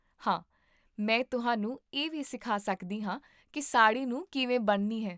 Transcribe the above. ਹਾਂ, ਮੈਂ ਤੁਹਾਨੂੰ ਇਹ ਵੀ ਸਿਖਾ ਸਕਦੀ ਹਾਂ ਕਿ ਸਾੜ੍ਹੀ ਨੂੰ ਕਿਵੇਂ ਬੰਨ੍ਹਣੀ ਹੈ